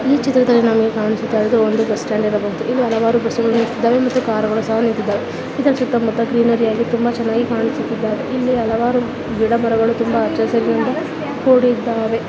ಈ ಚಿತ್ರದಲ್ಲಿ ನಮಗೆ ಕಾಣಿಸುತ್ತಿರುವುದು ಒಂದು ಬಸ್ ಸ್ಟಾಂಡ್ ಇರಬಹುದು. ಇಲ್ಲಿ ಹಲವಾರು ಬಸ್ಸುಗಳು ನಿಂತಿದ್ದಾವೆ ಮತ್ತೆ ಕಾರುಗಳು ಸಹ ನಿಂತಿದ್ದಾವೆ ಇದರ ಸುತ್ತ ಮುತ್ತ ಗ್ರೀನರಿ ಆಗಿ ತುಂಬಾ ಚೆನ್ನಾಗಿ ಕಾಯಿಸುತ್ತಿದ್ದವೇ. ಇಲ್ಲಿ ಹಲವಾರು ಗಿಡಗಳು ತುಂಬಾ ಹಚ್ಚ ಹಸಿರಿನಿಂದ ಕೂಡಿದ್ದಾವೆ .